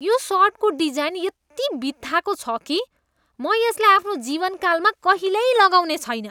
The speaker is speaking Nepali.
यो सर्टको डिजाइन यति बित्थाको छ कि म यसलाई आफ्नो जीवनकालमा कहिल्यै लगाउने छैन।